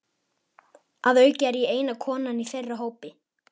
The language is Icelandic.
Að auki er ég eina konan í þeirra hópi.